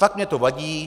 Fakt mně to vadí.